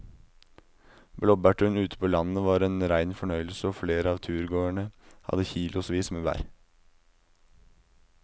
Blåbærturen ute på landet var en rein fornøyelse og flere av turgåerene hadde kilosvis med bær.